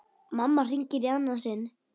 Mamma hringir í annað sinn.